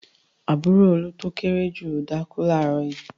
Àbúrò Olú tó kéré jù lọ dákú láàárọ̀ yìí.